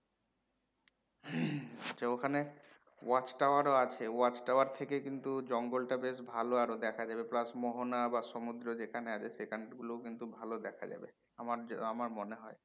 আচ্ছা ওখানে watch tower ও আছে watch tower থেকে কিন্তু জঙ্গলটা বেশ ভালো আরো দেখা যাবে plus মোহনা বা সমুদ্র যেখানে আছে সেখান গুলোও কিন্তু ভালো দেখা যাবে আমার যা আমার মনে হয়